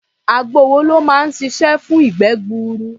Àgbo wo ló máa ṣiṣẹ́ fún ìgbẹ́ gbuuru?